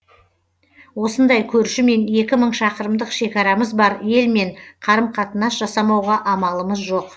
осындай көршімен екі мың шақырымдық шекарамыз бар елмен қарым қатынас жасамауға амалымыз жоқ